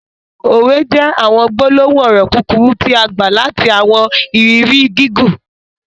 Òwè jẹ̀ awọn gbolohun ọrọ kukuru tia gba lati awọn iriri gigun.